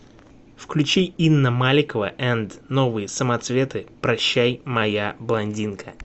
включи инна маликова энд новые самоцветы прощай моя блондинка